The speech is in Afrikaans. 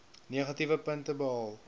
negatiewe punte behaal